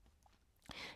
DR K